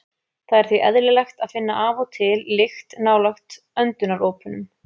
Það er því eðlilegt að finna af og til lykt nálægt öndunaropunum.